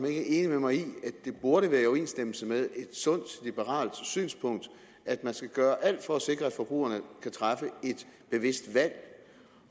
er enig med mig i at det burde være i overensstemmelse med et sundt liberalt synspunkt at man skal gøre alt for at sikre at forbrugerne kan træffe et bevidst valg